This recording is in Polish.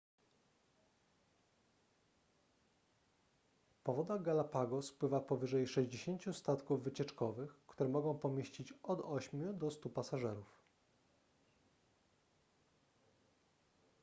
po wodach galapagos pływa powyżej 60 statków wycieczkowych które mogą pomieścić od 8 do 100 pasażerów